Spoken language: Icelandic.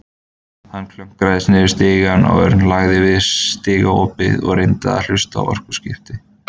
Hann klöngraðist niður stigann og Örn lagðist við stigaopið og reyndi að hlusta á orðaskipti.